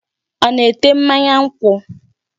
Ọ na-ete mmanya nkwụ?